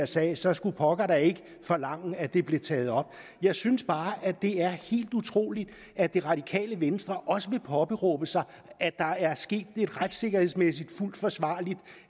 sager så skulle pokker da forlange at det blev taget op jeg synes bare det er helt utroligt at det radikale venstre også vil påberåbe sig at der er sket en retssikkerhedsmæssigt fuldt forsvarlig